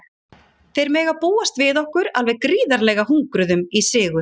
Þeir mega búast við okkur alveg gríðarlega hungruðum í sigur.